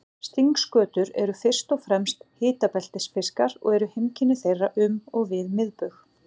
Stingskötur eru fyrst og fremst hitabeltisfiskar og eru heimkynni þeirra um og við miðbaug.